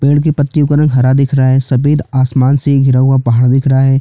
पेड़ के पत्तियों का रंग हरा दिख रहा है सफ़ेद आसमान से घिरा हुआ पहाड़ दिख रहा हैं।